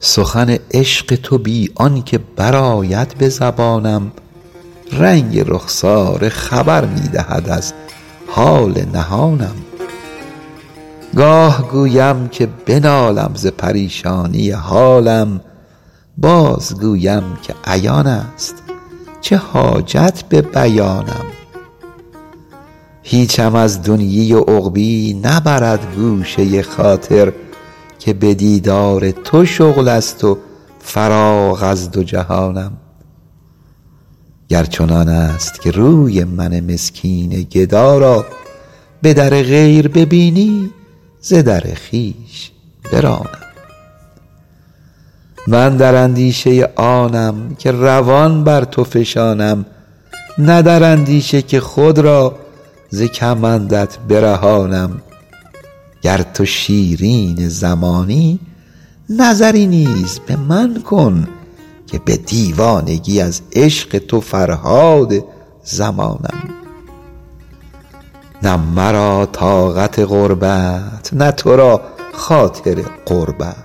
سخن عشق تو بی آن که برآید به زبانم رنگ رخساره خبر می دهد از حال نهانم گاه گویم که بنالم ز پریشانی حالم بازگویم که عیان است چه حاجت به بیانم هیچم از دنیی و عقبیٰ نبرد گوشه خاطر که به دیدار تو شغل است و فراغ از دو جهانم گر چنان است که روی من مسکین گدا را به در غیر ببینی ز در خویش برانم من در اندیشه آنم که روان بر تو فشانم نه در اندیشه که خود را ز کمندت برهانم گر تو شیرین زمانی نظری نیز به من کن که به دیوانگی از عشق تو فرهاد زمانم نه مرا طاقت غربت نه تو را خاطر قربت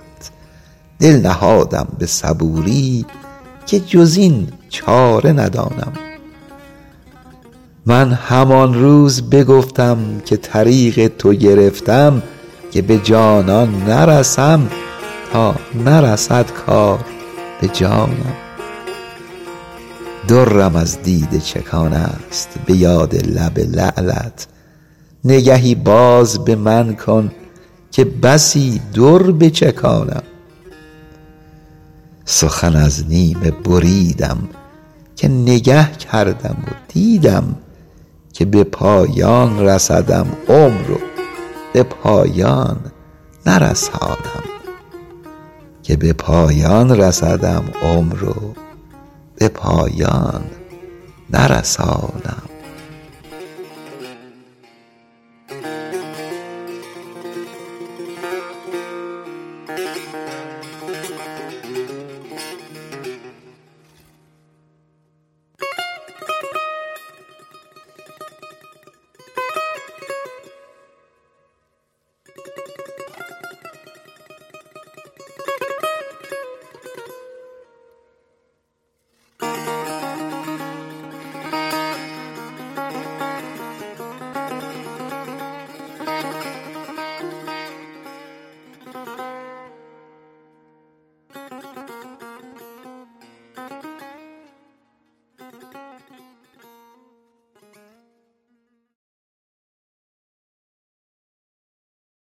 دل نهادم به صبوری که جز این چاره ندانم من همان روز بگفتم که طریق تو گرفتم که به جانان نرسم تا نرسد کار به جانم درم از دیده چکان است به یاد لب لعلت نگهی باز به من کن که بسی در بچکانم سخن از نیمه بریدم که نگه کردم و دیدم که به پایان رسدم عمر و به پایان نرسانم